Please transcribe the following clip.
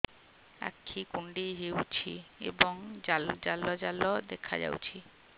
ଆଖି କୁଣ୍ଡେଇ ହେଉଛି ଏବଂ ଜାଲ ଜାଲ ଦେଖାଯାଉଛି